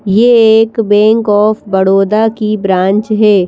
यह एक Bank of Baroda की ब्रांच है।